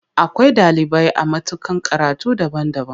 Akwai ɗalibai a matakan karatu daban-daban.